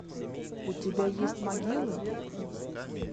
у тебя есть могилы